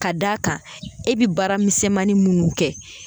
Ka d'a kan e bi baara misɛnnin minnu kɛ